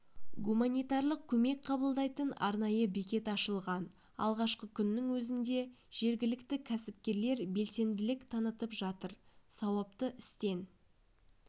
гуманитарлық көмек қабылдайтын арнайы бекет ашылған алғашқы күннің өзінде жергілікті кәсіпкерлер белсенділік танытып жатыр сауапты істен